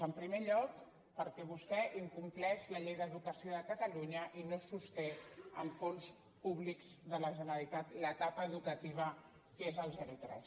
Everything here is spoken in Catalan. en primer lloc perquè vostè incompleix la llei d’educació de catalunya i no se sosté amb fons públics de la generalitat l’etapa educativa que és els zerotres